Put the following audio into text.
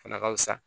O fana ka fisa